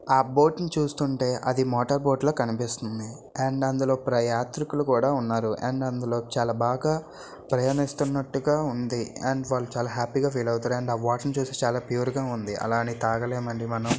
ఆ బోటు ని చూస్తుంటే అది మోటార్ బోటు లా కనిపిస్తుంది. అండ్ అందులో యాత్రికులు కూడా ఉన్నారు .అండ్ అందులో చాలా బాగా ప్రయనిస్తునట్టుగా ఉంది . అండ్ వాళ్ళు చాలా హ్యాపీ గా ఫీల్ అవుతారు. అండ్ ఆ వాటర్ ని చూస్తే చాలా ప్యూర్ గా ఉంది .అలాగని తగలెండి మనం--